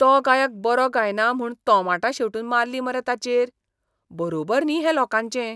तो गायक बरो गायना म्हूण तोमाटां शेंवटून मारलीं मरे ताचेर! बरोबर न्ही हें लोकांचें.